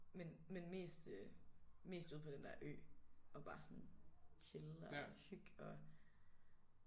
Men men mest øh mest ude på den der ø og bare sådan chille og hygge og